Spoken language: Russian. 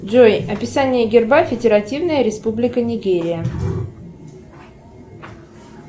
джой описание герба федеративная республика нигерия